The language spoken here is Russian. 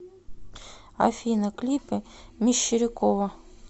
афина клипы мещерякова